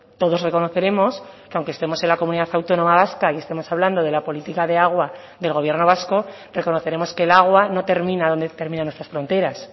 todos reconoceremos que aunque estemos en la comunidad autónoma vasca y estemos hablando de la política de agua del gobierno vasco reconoceremos que el agua no termina donde terminan nuestras fronteras